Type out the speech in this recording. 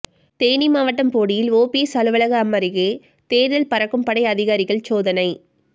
தேனி மாவட்டம் போடியில் ஒபிஎஸ் அலுவலகம் அருகே தேர்தல் பறக்கும் படை அதிகாரிகள் சோதனை